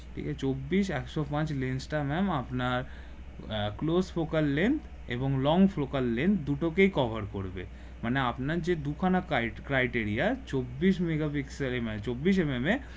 এহ চব্বিশ একশো পাচ lens টা ma'am আপনার আহ close focus lens এবং long focus lens দুটোকে cover করবে মানে আপনার যে দু-খানা ক্রাই criteria চব্বিশ megapixel চব্বিশ mm